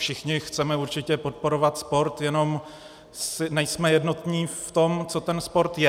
Všichni chceme určitě podporovat sport, jenom nejsme jednotní v tom, co ten sport je.